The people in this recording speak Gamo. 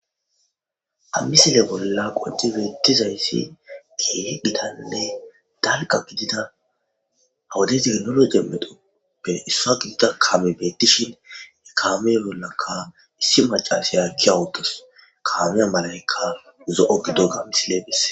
Ha misile bolla qonci betizays issi keehi gitanne dalga gidida ha wode tekinoje medhoppe isuwra gidiza kammey betishen kaame bollaka macashiya ke'autasu, kaame medhoyka zo'o gidoga misiley beses